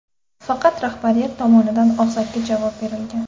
Faqat rahbariyat tomonidan og‘zaki javob berilgan.